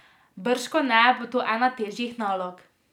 Bržkone bo to ena težjih nalog.